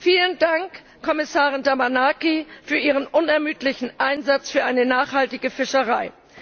Vielen Dank, Kommissarin Damanaki, für Ihren unermüdlichen Einsatz für eine nachhaltige Fischerei.